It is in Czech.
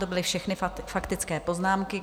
To byly všechny faktické poznámky.